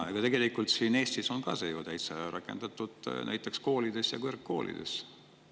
Ja tegelikult Eestis on ka see ju täitsa rakendatud näiteks koolides ja kõrgkoolides.